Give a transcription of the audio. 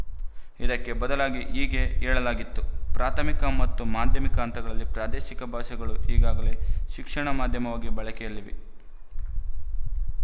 ಇದಕ್ಕೆ ಬದಲಾಗಿ ಹೀಗೆ ಹೇಳಲಾಗಿತ್ತು ಪ್ರಾಥಮಿಕ ಮತ್ತು ಮಾಧ್ಯಮಿಕ ಹಂತಗಳಲ್ಲಿ ಪ್ರಾದೇಶಿಕ ಭಾಷೆಗಳು ಈಗಾಗಲೇ ಶಿಕ್ಷಣ ಮಾಧ್ಯಮವಾಗಿ ಬಳಕೆಯಲ್ಲಿವೆ